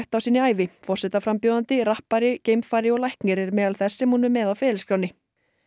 á sinni ævi forsetaframbjóðandi rappari geimfari og læknir er meðal þess sem hún er með á ferilskránni